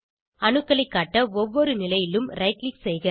அணுக்களைக் காட்ட ஒவ்வொரு நிலையிலும் ரைட் க்ளிக் செய்க